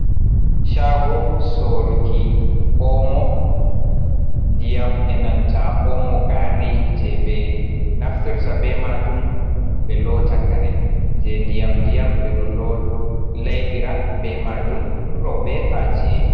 "Shago "soruki omo, ndiyam enanta omo gari je ɓe naftirta be majum ɓe lota kare je ndiyam ndiyam ɓeɗo laibira be majum roɓe ha chi'e.